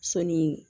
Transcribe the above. Sɔni